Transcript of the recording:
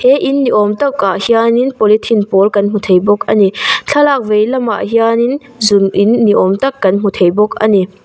he in ni awm takah hian in polythene pawl kan hmu thei bawk a ni thlalak vei lamah hian in zun in ni awm tak kan hmu thei bawk a ni.